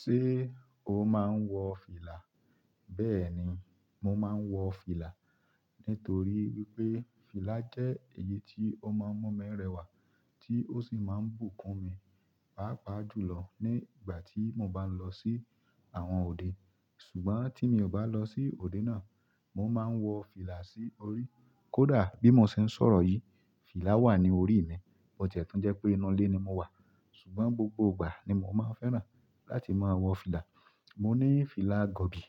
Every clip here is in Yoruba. Ṣé o máa ń wọ fìlà? Bẹ́ẹ̀ni, mo máa ń wọ fìlà nítorí wípé fìlà jẹ́ èyí tí ó máa ń mú mi rẹwà tí ó sì máa ń bùkún mi, pàápàá jùlọ ní ìgbà tí mo bá ń lọ sí àwọn òde. Ṣùgbọ́n tí mi ò bá lọ sí òde náà, mo máa ń wọ fìlà sí orí. Kódà bí mo ṣe ń sọ̀rọ̀ yìí, fìlà wà ní orí mi, bo tiẹ́ tun jẹ́ pé inú ilé ni mo wà. Ṣùgbọ́n gbogbo ìgbà ni mo máa ń fẹ́ràn láti máa wọ fìlà. Mo ní fìlà gọ̀bì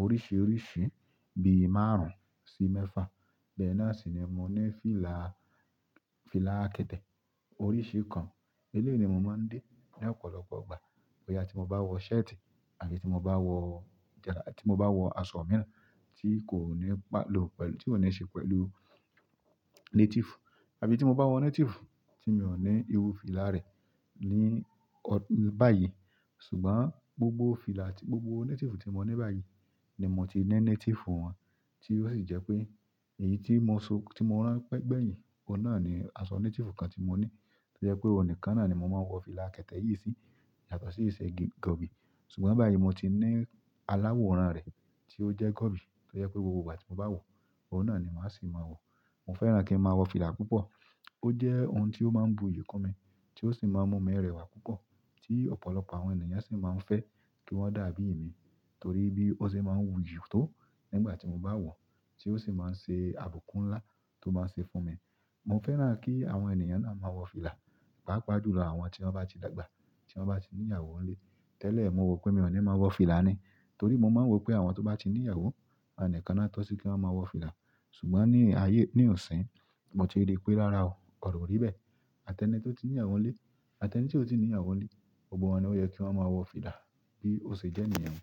oríṣiríṣi bí i márùn-ún sí mẹ́fà. Bẹ́ẹ̀ náà sì ni mo ní fìlà, fìlà kẹ̀tẹ́ oríṣi kan. Eléyii ni mo máa ń dé ní ọ̀pọ̀lọpọ̀ ìgbà. Boya ti mo ba wo shirt, àbí ti mo ba wo, ti mo ba wo aṣọ mìíràn ti ko ni se pẹ̀lú native. Àbí ti mo ba wo native ti mi o ni iru fìlà re ni bayi. Ṣùgbọ́n gbogbo fìlà àti gbogbo native tí mo ní báyìí ni mo ti ní native wọn, tí ó sì jẹ́ pé èyí tí mo so, tí mo rán pẹ́gbẹ̀yìn, ọ̀un náà ni aṣọ native kan tí mo ní. Ó jẹ́ pé ọ̀un nìkan náà ni mo máa ń wọ fìlà kẹ̀tẹ́ yìí sí yàtọ̀ sí ìṣe gọ̀bì. Ṣùgbọ́n báyìí mo ti ní aláworan rẹ̀ tí ó jẹ́ gọ̀bì tó jẹ́ pé gbogbo ìgbà tí mo bá wọ, ọ̀un náà ni màá sì máa wọ̀. Mo fẹ́ràn kí n máa wọ fìlà púpọ̀. Ó jẹ́ ohun tí ó máa ń bùkún mi tí ó sì máa ń mú mi rẹwà púpọ̀ tí ọ̀pọ̀lọpọ̀ àwọn ènìyàn sì máa ń fẹ́ kí wọ́n dàbí ì mi torí bí ó ṣe máa ń wuyì tó nígbà tí mo bá wọ, tí ó sì máa ń ṣe àbùkún ńlá tó máa ṣe fún mi. Mo fẹ́ràn kí àwọn ènìyàn náà máa wọ fìlà, pàápàá jùlọ àwọn tí wọ́n bá ti dàgbà, tí wọ́n bá ti ní ìyàwó ń lé. Tẹ́lẹ̀ mo rò pé mi ò ní máa wọ fìlà ni torí mo máa ń rò pé àwọn tó bá ti ní ìyàwó, àwọn nikán lo tọ́ sí kí wọ́n máa wọ fìlà. Ṣùgbọ́n ni aye ni ọ̀sìn, mo ti ri pe rara o, oro o ri be. Àtẹ́nì tí ó ti ní ìyàwó ń lé, àtẹ́nì tí ò tí ì ní ìyàwó ń lé, gbogbo wọn ni ó yẹ kí wọ́n máa wọ fìlà bí ó ṣe jẹ́ niyen.